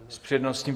S přednostním?